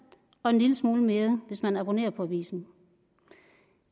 og en lille smule mere hvis man abonnerer på avisen